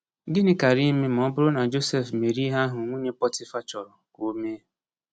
Gịnị kaara ime ma ọ bụrụ na Josef mere ihe ahụ nwunye Pọtịfa chọrọ ka o mee?